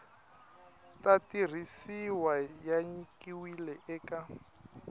ta tirhisiwa ya nyikiwile eka